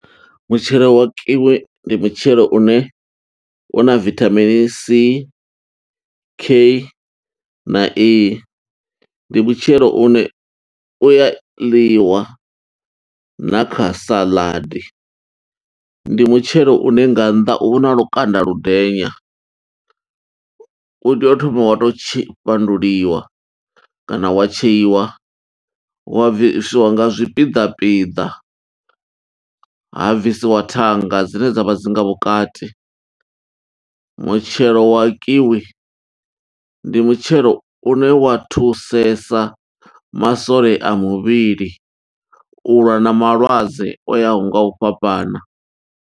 Mutshelo wa kiwi, ndi mutshelo une une una vithamini C, K, na E. Ndi mutshelo une u ya ḽiwa na kha saḽadi, ndi mutshelo une nga nnḓa una lukanda lu ndenya, u tea u thoma wa tou tshe fhanduliwa, kana wa tsheiwa, wa bvisiwa nga zwipiḓa pida. Ha bvisiwa thanga dzine dzavha dzi nga vhukati, mutshelo wa kiwi ndi mutshelo une wa thusesa masole a muvhili, u lwa na malwadze o yaho nga u fhambana.